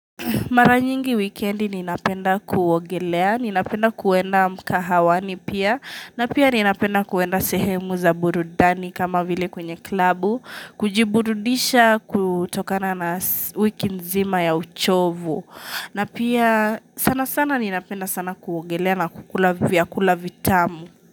Mara nyingi wikendi ninapenda kuogelea, ninapenda kuenda mkahawani pia na pia ninapenda kuenda sehemu za burudani kama vile kwenye klabu kujiburudisha kutokana na wiki nzima ya uchovu. Na pia sana sana ninapenda sana kuogelea na kukula vya kula vitamu.